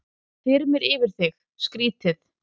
Þá þyrmir yfir þig, skrýtið.